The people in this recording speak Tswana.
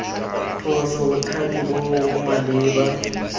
phoso bothati bo bo maleba